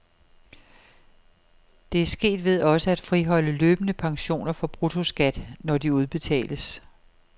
Det er sket ved også at friholde løbende pensioner for bruttoskat, når de udbetales.